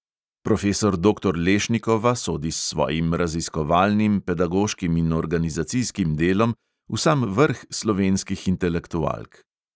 Profesor doktor lešnikova sodi s svojim raziskovalnim, pedagoškim in organizacijskim delom v sam vrh slovenskih intelektualk.